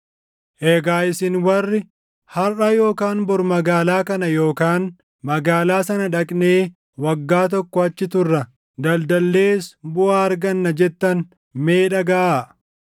Egaa isin warri, “Harʼa yookaan bor magaalaa kana yookaan magaalaa sana dhaqnee waggaa tokko achi turra; daldallees buʼaa arganna” jettan mee dhagaʼaa.